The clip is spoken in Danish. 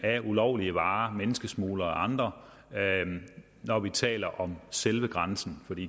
af ulovlige varer via menneskesmuglere og andre når vi taler om selve grænsen